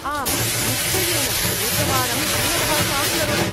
आम्, निश्चयेन, एकवारं दूरभाषां करोतु।